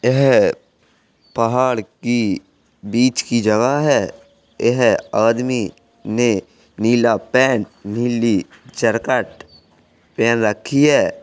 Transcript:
यह पहाड़ की बीच की जगह है| यह आदमी ने नीला पेंट नीली जरकट पहन रखी है।